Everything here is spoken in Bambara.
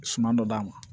Suman dɔ d'a ma